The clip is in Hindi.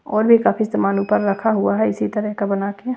और भी काफी सामान ऊपर रखा हुआ है इसी तरह का बना के --